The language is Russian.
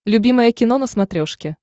любимое кино на смотрешке